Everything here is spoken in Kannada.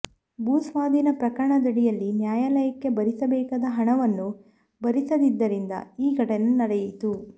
ಭೂ ಸ್ವಾಧೀನ ಪ್ರಕರಣದಡಿಯಲ್ಲಿ ನ್ಯಾಯಾ ಲಯಕ್ಕೆ ಭರಿಸಬೇಕಾದ ಹಣವನ್ನು ಭರಿಸದ್ದರಿಂದ ಈ ಘಟನೆ ನಡೆಯಿತು